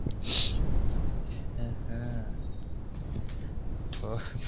அஹான் ஒ